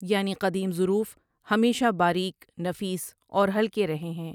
یعنی قدیم ضروف ہمیشہ باریک، نفیس اور ہلکے رہے ہیں ۔